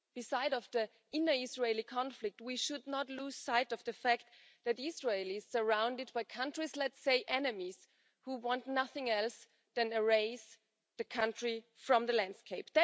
Besides the inner Israeli conflict, we should not lose sight of the fact that Israel is surrounded by countries let's say enemies who want nothing else than to erase the country from the landscape.